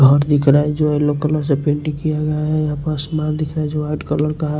घर दिख रहा है जो येलो कलर से पेंटिंग किया गया हैयहां पर आसमान दिख रहा है जो वाइट कलर का है।